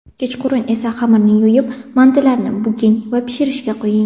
Kechqurun esa xamirni yoyib, mantilarni buking va pishirishga qo‘ying.